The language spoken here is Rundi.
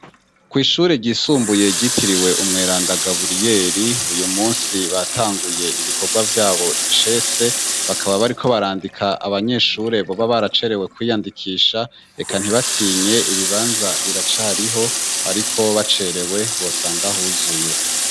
Kw'ishure ryisumbuye ryitiriwe umweranda Gaburiyeri, uyu munsi batanguye ibikorwa vy'abo icese. Bakaba bariko barandika abanyeshure boba baracerewe kwiyandikisha, eka ntibatinye, ibibanza biracariho, ariko bacerewe bosanga huzuye.